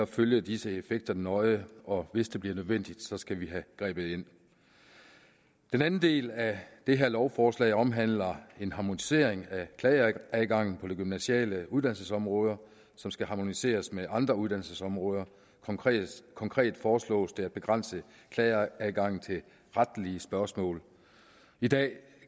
følge disse effekter nøje og hvis det bliver nødvendigt skal vi have grebet ind den anden del af det her lovforslag omhandler en harmonisering af klageadgangen på de gymnasiale uddannelsesområder som skal harmoniseres med andre uddannelsesområder konkret konkret foreslås det at begrænse klageadgangen til retlige spørgsmål i dag